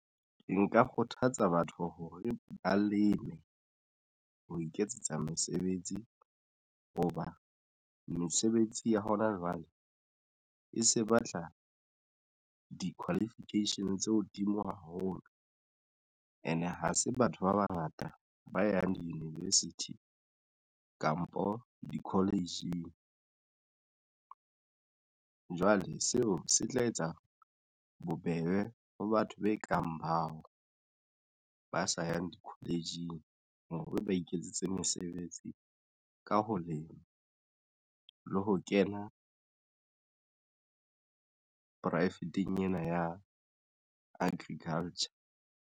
Nka kgothatsa batho hore ba leme ho iketsetsa mesebetsi hoba mesebetsi ya hona jwale e se batla di qualification tse hodimo haholo, and ha se batho ba bangata ba yang di-university kampo di-college-ing jwale seo se tla etsa bobebe ho batho be kang bao ba sa yang di-college-ing hore ba iketsetse mesebetsi ka ho lema le ho kena poraefeteng ena ya agriculture.